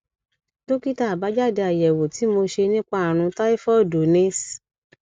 dókítà àbájáde àyẹwò tí mo ṣe nípa ààrùn táífọọdù ni s